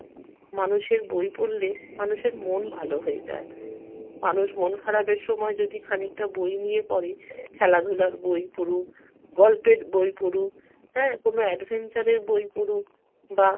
মানুষের বই পড়লে মানুষের মন ভালো হয়ে যায়। মানুষ মন খারাপের সময় যদি খানিকটা বই নিয়ে পড়ে খেলাধুলার বই পড়ুক, গল্পের বই পড়ুক হ্যাঁ, কোনো adventure এর বই পড়ুক বা